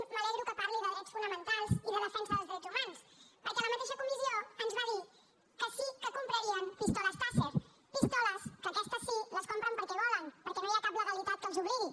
m’alegro que parli de drets fonamentals i de defensa dels drets humans perquè en la mateixa comissió ens va dir que sí que comprarien pistoles tasser pistoles que aquestes sí les compren perquè volen perquè no hi ha cap legalitat que els obligui